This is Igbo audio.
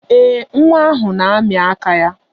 Ee, nwa ahụ na-amị aka ya.